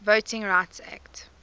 voting rights act